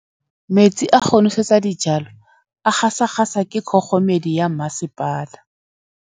Metsi a go nosetsa dijalo a gasa gasa ke kgogomedi ya masepala.